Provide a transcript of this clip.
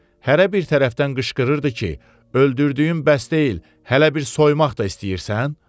Hərə bir tərəfdən qışqırırdı ki, öldürdüyüm bəs deyil, hələ bir soymaq da istəyirsən?